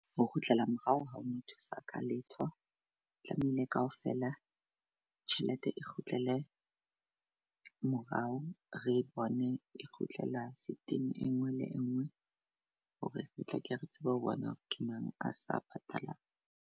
Ho kgutlela morao ha o no thusa ka letho tlamehile kaofela tjhelete e kgutlele morao. Re bone e kgutlela e ngwe le engwe hore re tla ke re tsebe ho bona hore ke mang a sa patalang.